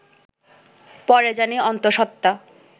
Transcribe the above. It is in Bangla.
পরে জানি অন্তঃসত্ত্বা